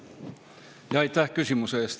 Aitäh küsimuse eest!